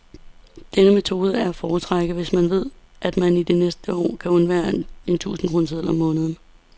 Denne metode er at foretrække, hvis man ved, at man i det næste år kan undvære en tusindkroneseddel om måneden.